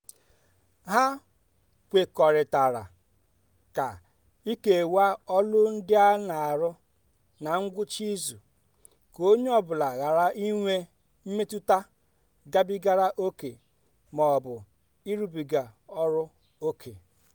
ha kwekọrịtara ka ikewaa ọlụ ndị a na-arụ ná ngwụcha izu ka onye ọ bụla ghara inwe mmetụta gabigara ókè ma ọ bụ ịrụbiga ọlụ ókè.